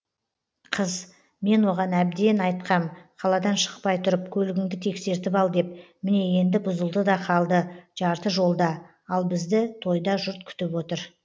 қыз мен оған әбден айтқам қаладан шықпай тұрып көлігіңді тексертіп ал деп міне енді бұзылды да қалды жарты жолда ал бізді тойда жұрт күтіп отыр